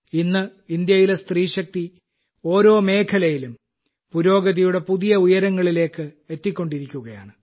ഇന്ന് ഇന്ത്യയിലെ സ്ത്രീശക്തി ഓരോ മേഖലയിലും പുരോഗതിയുടെ പുതിയ ഉയരങ്ങളിലേക്ക് എത്തിക്കൊണ്ടിരിക്കുകയാണ്